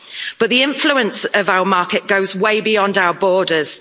But the influence of our market goes way beyond our borders.